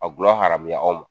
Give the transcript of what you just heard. A dulɔ haramuya aw ma